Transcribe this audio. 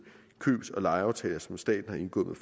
købs og lejeaftaler som staten har indgået